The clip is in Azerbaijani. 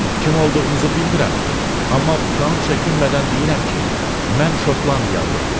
Kim olduğunuzu bilmirəm, amma utanıb çəkinmədən deyirəm ki, mən Şotlandiyalıyam.